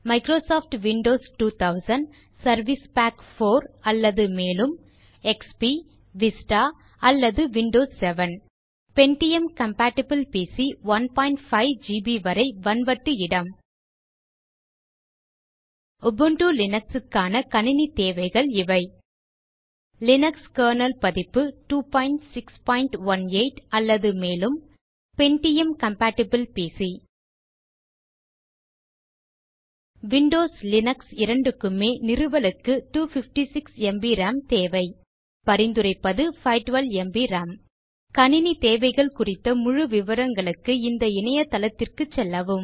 Microsoft Windows 2000 service pack 4 அல்லது மேலும் XP Vista அல்லது Windows 7pentium compatible PC 15 GB வரை வன்வட்டு இடம் உபுண்டு லினக்ஸ் க்கான கணினி தேவைகள் இவை லினக்ஸ் கெர்னல் பதிப்பு 2618 அல்லது மேலும் pentium compatible PC Windows Linux இரண்டுக்குமே நிறுவலுக்கு 256 ம்ப் ராம் தேவை பரிந்துரைப்பது 512 ம்ப் ராம் கணினி தேவைகள் குறித்த முழு விவரங்களுக்கு இந்த இணையதளத்திற்க்கு செல்லவும்